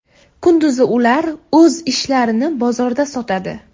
Kunduzi ular o‘z ishlarini bozorda sotadi.